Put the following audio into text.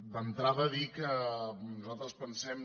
d’entrada dir que nosaltres pensem